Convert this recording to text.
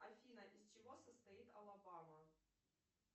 афина из чего состоит алабама